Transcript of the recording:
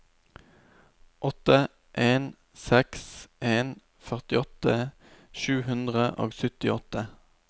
åtte en seks en førtiåtte sju hundre og syttiåtte